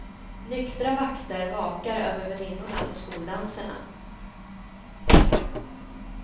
Nyktra vakter vakar över väninnorna på skoldanserna.